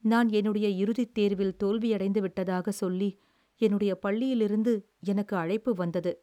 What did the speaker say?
நான் என்னுடைய இறுதித் தேர்வில் தோல்வியடைந்துவிட்டதாகச் சொல்லி என்னுடைய பள்ளியிலிருந்து எனக்கு அழைப்பு வந்தது.